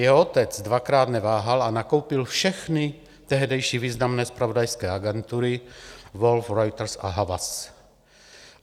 Jeho otec dvakrát neváhal a nakoupil všechny tehdejší významné zpravodajské agentury - Wolff(?), Reuters a Havas.